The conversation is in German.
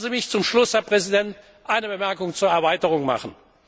Lassen Sie mich zum Schluss, Herr Präsident, eine Bemerkung zur Erweiterung machen.